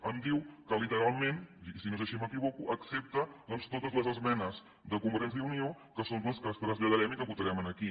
em diu que literalment i si no és així m’equivoco accepta totes les esmenes de convergència i unió que són les que traslladarem i que votarem aquí